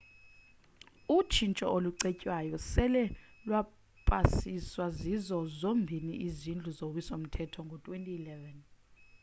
utshintsho olucetywayo sele lwapasiswa zizo zombini izindlu zowiso mthetho ngo-2011